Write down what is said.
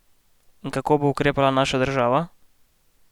In kako bo ukrepala naša država?